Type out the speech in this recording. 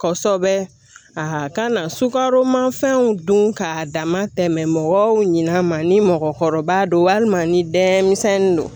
Kɔsɛbɛ a ka na sukaromafɛnw don k'a dama tɛmɛ mɔgɔw ɲin'a ma ni mɔgɔkɔrɔba don walima ni dɛmisɛnnin don